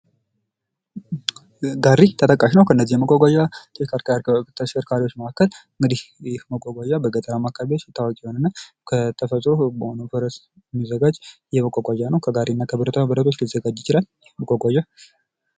ጋሪ ተጠቃሽ ነዉ ከእነዚህ የመጓጓዣ ተሽከርካሪዎች መካከል እንግዲህ ይህ መጓጓዣ በገጠራማ አካባቢዎች ታዋቂ የሆነ እና ተፈጥሮ በሆነዉ ፈረስ የሚዘጋጅ መጓጓዣ ነዉ። ከጋሪና ብረቶች ሊዘጋጅ ይችላል።